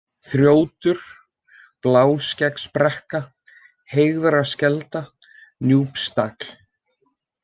Þrjótur, Bláskeggsbrekka, Heygarðskelda, Núpstagl